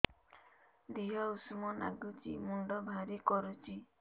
ଦିହ ଉଷୁମ ନାଗୁଚି ମୁଣ୍ଡ ଭାରି କରୁଚି